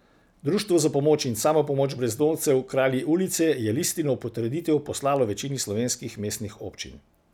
Društvo za pomoč in samopomoč brezdomcev Kralji ulice je listino v potrditev poslalo večini slovenskih mestnih občin.